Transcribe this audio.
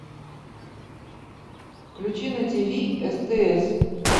включи на тв стс